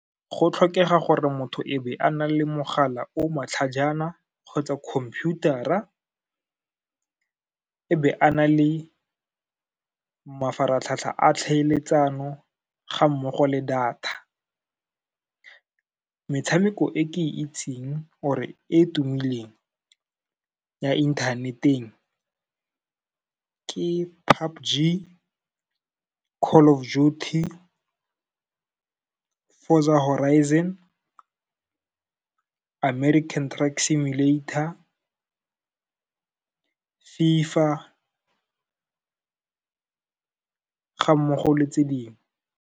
Go tlhokega gore motho e be a na le mogala o matlhajana kgotsa computer-ra, e be a na le mafaratlhatlha a tlhaeletsano ga mmogo le data. Metshameko e ke e itseng or-re e tumileng ya inthaneteng, ke PUBG, Call of Duty, Forza Horizon, American Truck Simulator, FIFA ga mmogo le tse dingwe.